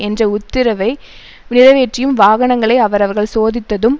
என்ற உத்தரவை நிறைவேற்றியும் வாகனங்களை அவர்கள் சோதித்ததும்